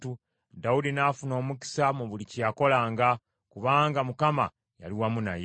Dawudi n’afuna omukisa mu buli kye yakolanga, kubanga Mukama yali wamu naye.